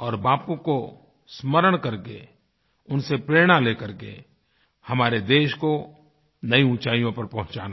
और बापू को स्मरण करके उनसे प्रेरणा लेकर के हमारे देश को नई ऊँचाइयों पर पहुँचाना है